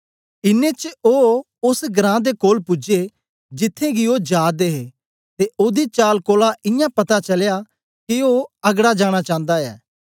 इन्नें च ओ ओस घरां दे कोल पूजे जिथें गी ओ जा दे हे ते ओदी चाल कोलां इयां पता चलया के ओ अगड़ा जानां चांदा ऐ